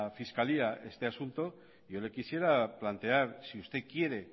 fiscalía este asunto yo le quisiera plantear si usted quiere